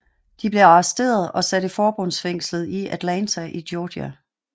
De blev arresteret og sat i forbundsfængslet i Atlanta i Georgia